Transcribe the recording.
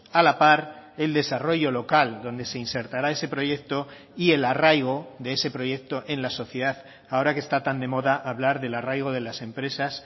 a la par el desarrollo local donde se insertará ese proyecto y el arraigo de ese proyecto en la sociedad ahora que está tan de moda hablar del arraigo de las empresas